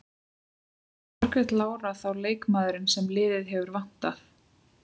Var Margrét Lára þá leikmaðurinn sem liðið hefur vantað?